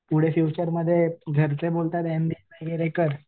पुढं फ्यूचरमध्ये घरचे बोलतात एमबीए कर